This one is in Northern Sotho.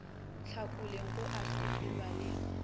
hlakoleng go a sepelwa le